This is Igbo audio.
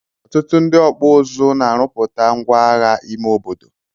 Ọtụtụ ndi ọkpụ ụzụ na arụputa ngwa agha ime obodo.